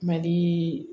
Mali